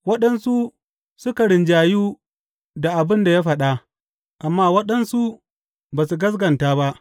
Waɗansu suka rinjayu da abin da ya faɗa, amma waɗansu suka ba su gaskata ba.